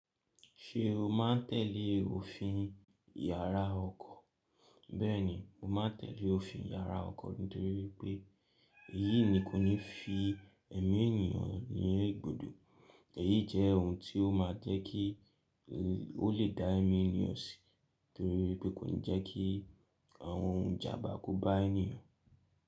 Ṣé o má ń tẹ̀lé òfin yàrá ọkọ̀? Bẹ́ẹ̀ni, mo máa n tẹ̀lé òfin yàrá ọkọ̀ nítorí pé èyí ni kò ní fi èmí ènìyàn ní ìgbòdò. Èyí jẹ́ ohun tí ó máa jẹ́ kí ó lè dá èmí ènìyàn si torí pé kò ní jẹ́ kí àwọn ohun ìjàmbá kó bá ènìyàn.